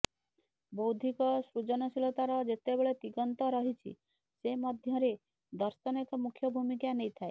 ବୌଦ୍ଧିକ ସୃଜନଶୀଳତାର ଯେତେବେଳେ ଦିଗନ୍ତ ରହିଛି ସେ ମଧ୍ୟରେ ଦର୍ଶନ ଏକ ମୁଖ୍ୟ ଭୂମିକା ନେଇଥାଏ